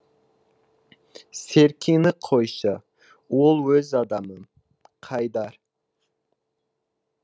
серкені қойшы ол өз адамым қайдар